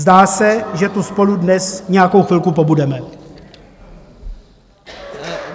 Zdá se, že tu spolu dnes nějakou chvilku pobudeme.